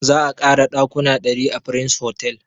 Za a ƙara ɗakuna ɗari a prince hotel